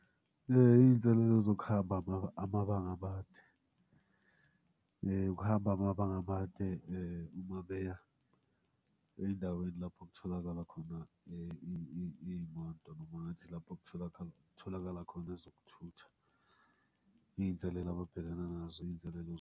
Iy'nselelo zokuhamba amabanga amade. Ukuhamba amabanga amade uma beya ey'ndaweni lapho okutholakala khona iy'moto noma ngathi lapho okutholakala khona ezokuthutha. Iy'nselela ababhekana nazo iy'nselela.